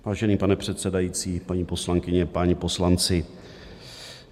Vážený pane předsedající, paní poslankyně, páni poslanci.